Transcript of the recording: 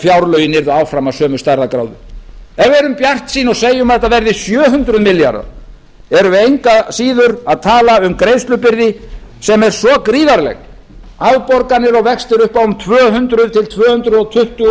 fjárlögin verða áfram af sömu stærðargráðu ef við erum bjartsýn og segjum að þetta verði sjö hundruð milljarðar erum við engu að síður að tala um greiðslubyrði sem er gríðarleg afborganir og vextir upp á um tvö hundruð til tvö hundruð tuttugu